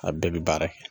A bɛɛ bɛ baara kɛ